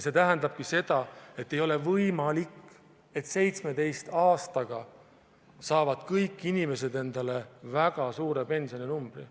See tähendabki seda, et ei ole võimalik, et 17 aastaga saavad kõik inimesed endale väga suure pensioninumbri.